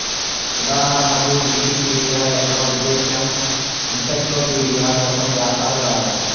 ఉదాహరణకు వికీపీడియా యొక్క ఉద్దేశ్యం ఎన్సైక్లోపీడియా కోసం వ్యాసాలు రాయడం